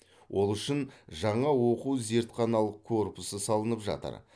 ол үшін жаңа оқу зертханалық корпусы салынып жатыр